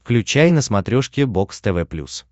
включай на смотрешке бокс тв плюс